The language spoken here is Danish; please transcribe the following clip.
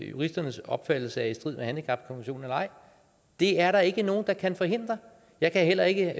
juristernes opfattelse er i strid med handicapkonventionen eller ej det er der ikke nogen der kan forhindre jeg kan heller ikke